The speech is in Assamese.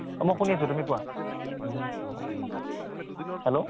মই শুনি আছো, তুমি কোৱা, hello